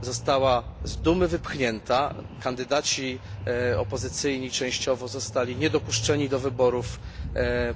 została z Dumy wypchnięta, kandydaci opozycyjni częściowo zostali niedopuszczeni do wyborów